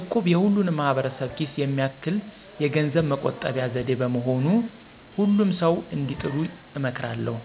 እቁብ የሁሉንም ማህበረሰብ ኪስ የሚያማክል የገንዘብ መቆጠቢያ ዘዴ በመሆኑ ሁሉም ሰዉ እንዲጥሉ እመክራለሁ።